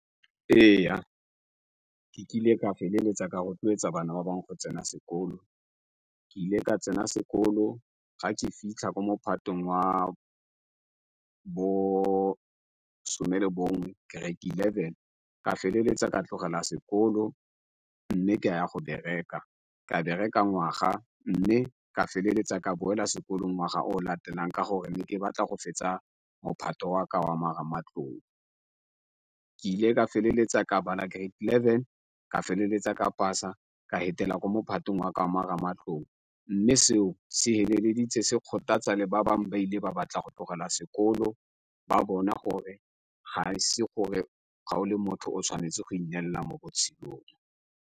Ee ke kile ka feleletsa ka rotloetsa bana ba bangwe go tsena sekolo ke ile ka tsena sekolo ga ke fitlha ko mophato wa bosome le bongwe grade eleven ka feleletsa ka tlogela sekolo, mme ke ya go bereka ka bereka ngwaga mme ka feleletsa ka boela sekolong ngwaga o latelang ka gore ne ke batla go fetsa mophato wa ka wa marematlou. Ke ile ka feleletsa ka bala grade eleven ka feleletsa ka pasa ka fetela ko mophato wa marematlou mme seo se feleleditse se kgothatsa le ba bangwe ba ile ba batla go tlogela sekolo ba bona gore ga e se gore ga o le motho o tshwanetse go ineelela mo botshelong.